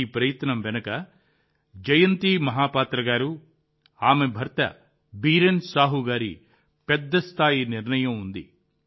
ఈ ప్రయత్నం వెనుక జయంతి మహాపాత్ర గారు ఆమె భర్త బీరెన్ సాహు గారి పెద్ద స్థాయి నిర్ణయం ఉంది